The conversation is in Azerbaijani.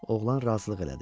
Oğlan razılıq elədi.